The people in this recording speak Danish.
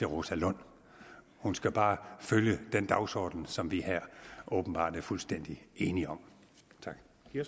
rosa lund hun skal bare følge den dagsorden som vi her åbenbart er fuldstændig enige om tak